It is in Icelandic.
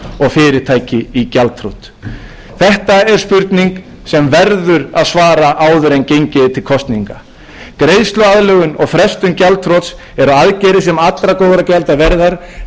fyrirtæki í gjaldþrot þetta er spurning sem verður að svara áður en gengið er til kosninga greiðsluaðlögun og frestun gjaldþrots eru aðgerðir sem eru allra góðra gjalda verðar en þær leysa